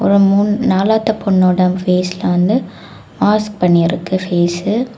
மூணு நாலாவது பொண்ணோட பேஸ்ல வந்து மாஸ்க் பண்ணி இருக்கு பேஸ்ஸு .